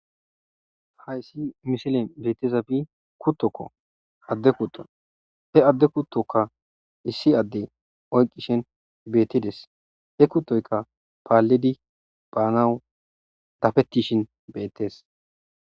Hayssi misile beetizafi kuttokko adde kuto he adde kuttoka issi adde oyqishen beettides he kuttoykka paallidi baanawu dafettishin bettees.